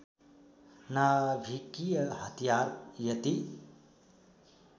नाभिकीय हतियार यति